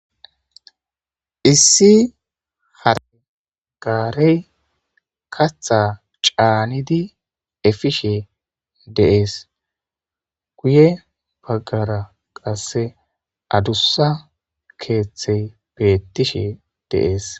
Issi hare gaarey kaththa caanidi bishe efishe dizayssa besees. guye bagara adusa kethayi betishe deyesi